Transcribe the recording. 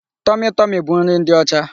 Tọmị Tọmị bụ nri ndị ọcha.